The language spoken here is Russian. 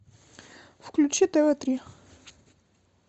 включи тв три